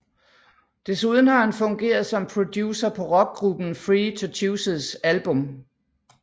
Desuden har han fungeret som producer på rockgruppen Free To Chooses album